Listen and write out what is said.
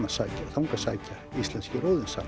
þangað sækja íslenskir